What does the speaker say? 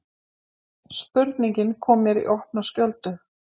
Spurningin kom mér í opna skjöldu.